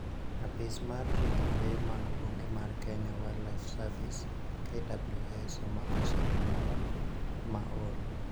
Apis mar rito lee mag bungu mar Kenya Wildlife Service (KWS) omako simba moro ma ol